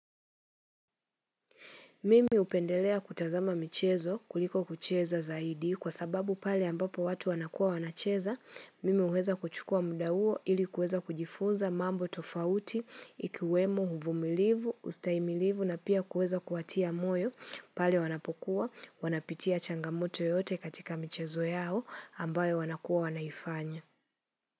Mimi hupendelea kutazama michezo kuliko kucheza zaidi kwa sababu pale ambapo watu wanakua wanacheza, mimi huweza kuchukua muda huo ili kuweza kujifunza mambo tofauti, ikiwemo, uvumilivu, ustahimilivu na pia kuweza kuwatia moyo pale wanapokuwa, wanapitia changamoto yote katika michezo yao ambayo wanakua wanaifanya.